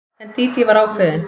En Dídí var ákveðin.